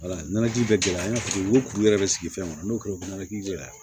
ji bɛ gɛlɛya an ka furu ko yɛrɛ bɛ sigi fɛn kɔnɔ n'o kɛra o bɛ ɲɛnajɛ gɛlɛya